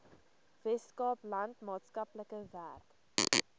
weskaapland maatskaplike werk